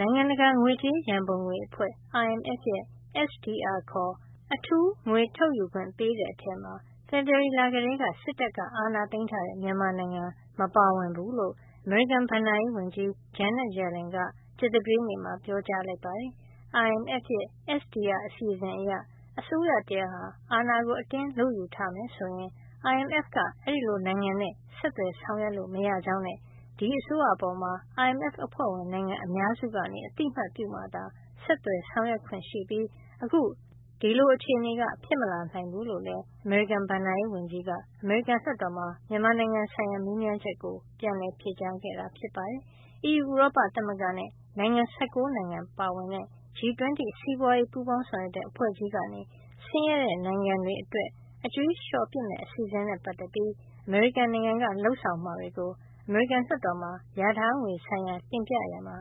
နိုင်ငံတကာ ငွေကြေးရန်ပုံငွေအဖွဲ့ IMF ရဲ့ SDR (Special Drawing Rights) ခေါ် အထူးငွေထုတ်ယူခွင့် ပေးတဲ့ထဲမှာ ဖေဖေါ်ဝါရီလကတည်းက စစ်တပ်က အာဏာသိမ်းထားတဲ့ မြန်မာနိုင်ငံ မပါဝင်ဘူးလို့ အမေရိကန်ဘဏ္ဍာရေးဝန်ကြီး Janet Yellen က ကြာသပတေးနေ့မှာ ပြောကြားလိုက်ပါတယ်။ IMF ရဲ့ SDR အစီအစဉ် အရ အစိုးရတရပ်ဟာ အာဏာကို အတင်းလုယူထားမယ် ဆိုရင် IMF က အဲဒီလို နိုင်ငံနဲ့ ဆက်သွယ်ဆောင်ရွက်လို့ မရကြောင်းနဲ့ ဒီအစိုးရအပေါ် IMF အဖွဲ့ဝင် နိုင်ငံ များစုက အသိမှတ်ပြုမှသာ ဆက်သွယ်ဆောင်ရွက်ခွင့်ရှိပြီး အခု ဒီလို အခြေနေ ဖြစ်မလာနိုင်ဘူးလို့လည်း အမေရိကန် ဘဏ္ဍာရေးဝန်ကြီး Janet Yellen က အမေရိကန်လွှတ်တော်မှာ မြန်မာနိုင်ငံဆိုင်ရာ မေးမြန်းချက်ကို ပြန်လည် ဖြေကြားခဲ့တာ ဖြစ်ပါတယ်။ အီးယူဥရောပ သမဂ္ဂနဲ့ နိုင်ငံ ၁၉ နိုင်ငံပါဝင်တဲ့ G 20 စီးပွားရေးပူးပေါင်းဆောင်ရွက်တဲ့ အဖွဲ့ကြီးကနေ ဆင်းရဲတဲ့ နိုင်ငံတွေ အတွက် အကြွေးလျှော်ပစ်မယ့် အစီအစဉ်နဲ့ ပတ်သက်ပြီး အမေရိကန်က လုပ်ဆောင်မှာတွေကို အမေရိကန်လွှတ်တော်မှာ လျာထားငွေဆိုင်ရာ တင်ပြရာမှာ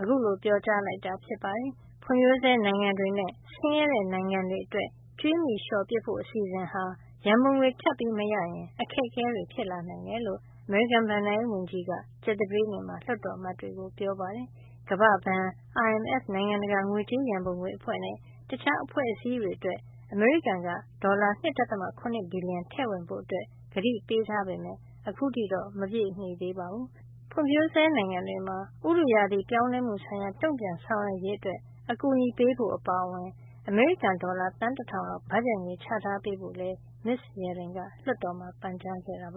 အခုလို ပြောကြားလိုက်တာ ဖြစ်ပါတယ်။ ဖွံ့ဖြိုးဆဲနိုင်ငံတွေနဲ့ ဆင်းရဲတဲ့ နိုင်ငံတွေ အတွက် ကြွေးမြီလျှော်ပစ်ဖို့ အစီအစဉ်ဟာ ရန်ပုံငွေထပ်မရရင် အခက်အခဲတွေ ဖြစ်နိုင်တယ်လို့ အမေရိကန်ဘဏ္ဍာရေးဝန်ကြီး Janet Yellen က ကြာသပတေးနေ့မှာ လွှတ်တော်အမတ်တွေကို ပြောပါတယ်။ ကမ္ဘာ့ဘဏ်၊ IMF နိုင်ငံတကာငွေကြေးရန်ပုံငွေအဖွဲ့ နဲ့ တခြားအဖွဲ့အစည်းတွေ အတွက် အမေရိကန်က ဒေါ်လာ ၂.၇ ဘီလျံထည့်ဝင်ဖို့ ကတိပေးထားပေမယ့် ခုထိတော့ မပြည့်မှီသေးပါဘူး။ ဖွံ့ဖြိုးဆဲနိုင်ငံတွေမှာ ဥတုရာသီပြောင်းလဲမှုဆိုင်ရာ တုန့်ပြန်ဆောင်ရွက်ရေး အကူညီပေးဖို့ အပါအဝင် အမေရိကန်ဒေါ်လာ သန်း တထောင်လောက် ဘတ်ဂျက်ငွေ ချထားပေးဖို့လည်း မစ္စ Yellen က လွှတ်တော်မှာ ပန်ကြားခဲ့တာပ